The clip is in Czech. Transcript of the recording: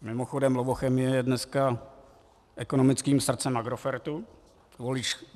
Mimochodem Lovochemie je dneska ekonomickým srdcem Agrofertu.